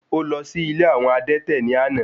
Ó lọ sí ilé àwọn adẹ́tẹ̀ ní àná.